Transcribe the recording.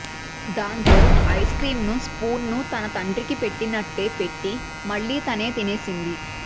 దాంతో ice creams ను spoon ను తన తండ్రికి పెట్టినట్టే పెట్టి మళ్లీ తనే తినేసింది